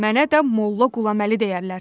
Mənə də Molla Qulaməli deyərlər.